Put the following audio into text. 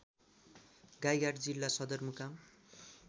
गाईघाट जिल्ला सदरमुकाम